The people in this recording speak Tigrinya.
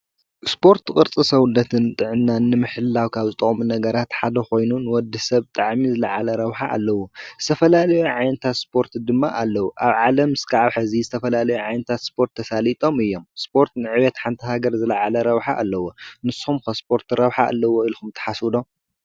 ስፖርት ቅርፂ ሰውነትን ጥዕናን ንምሕላው ካብ ዝጠቕሙ ነገራት ሓደ ኮይኑ ንወዲ ሰብ ብጣዕሚ ዝላዓለ ረብሓ ኣለዎ ዝተፈላለየ ዓይነታት ስፖርት ድማ ኣለው ኣብ ዓለም ክሳብ ሕዚ ዝተፈላለዩ ዓይነታት ስፖርት ተሳሊጦም እዮም ስፖርት ንዕቤት ሓንቲ ሃገር ዝለዓለ ረብሓ ኣለዎ ንስኩምከ ስፖርት ረብሓ ኣለዎ ኢልኩም ትሓስቡ ዶ?